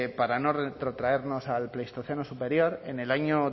para no retrotraernos al pleistoceno superior en el año